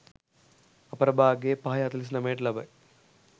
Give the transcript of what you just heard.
අපරභාග 05.49 ට ලබයි.